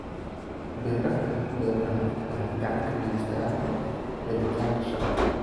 Beeraha beeraha waxay gacan ka geystaan ??helitaanka shaqo.